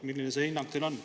Milline see hinnang on?